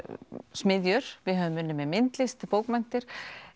smiðjur við höfum unnið með myndlist bókmenntir